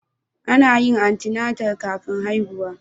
Ana yin antenatal kafin haihuwa